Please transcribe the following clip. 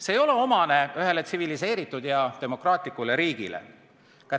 See ei ole tsiviliseeritud ja demokraatlikule riigile kohane.